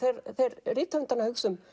fer rithöfundur að hugsa um